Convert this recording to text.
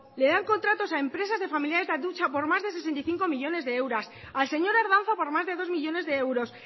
les dan contratos a empresas de familiares de atutxa por más de sesenta y cinco millónes de euros al señor ardanza por más de dos millónes de euros